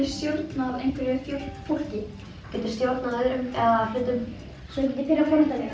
stjórnað einhverju fólki þá geturðu stjórnað öðrum eða hlutum svo ég geti pirrað foreldra mína